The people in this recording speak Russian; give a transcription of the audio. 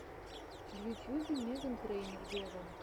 в ютьюбе меган трейнер вево